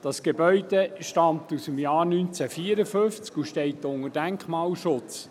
Das Gebäude stammt aus dem Jahre 1954 und steht unter Denkmalschutz.